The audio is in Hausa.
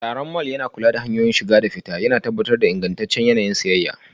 Tsaron mall yana kula da hanyoyin shiga da fita, yana tabbatar da ingantaccen yanayin siyayya.